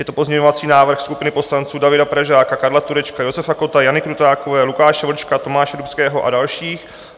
Je to pozměňovací návrh skupiny poslanců Davida Pražáka, Karla Turečka, Josefa Kotta, Jany Krutákové, Lukáše Vlčka, Tomáše Dubského a dalších.